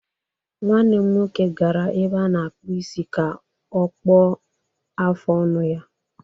Nwanne m nwoke gara ebe a na-akpụ isi ka ọ kpụọ afụ ọnụ ya